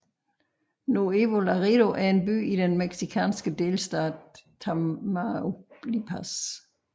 Nuevo Laredo er en by i den mexikanske delstat Tamaulipas